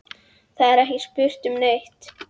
Það er ekki spurt um neitt.